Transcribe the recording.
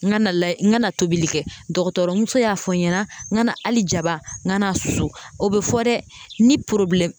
N kana layɛ n kana tobili kɛ dɔgɔtɔrɔmuso y'a fɔ n ɲɛna n kana hali jaba n kan'a susu o bɛ fɔ dɛ ni